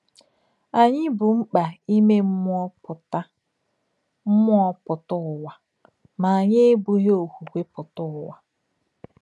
Ányị̀ bù m̀kpà ìmè mmúọ pútà mmúọ pútà ùwà mà ányị̀ èbùghí òkwùkwè pútà ùwà.